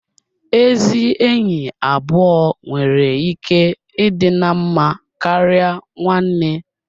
Ezi enyi abụọ nwere ike ịdị na mma karịa nwanne